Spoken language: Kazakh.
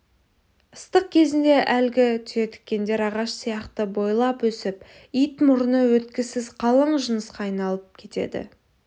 ыстық кезінде әлгі түйетікендер ағаш сияқты бойлап өсіп ит мұрны өткісіз қалың жынысқа айналып кетеді